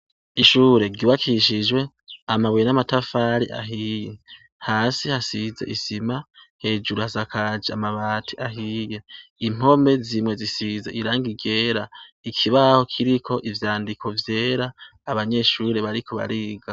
Ishure ryubakishijwe amabuye n'amatafari ahiye, hasi hasize isima, hejuru hasakaje amabati ahiye, impome zimwe zisize irangi ryera, ikibaho kiriko ivyandiko vyera, abanyeshure bariko bariga.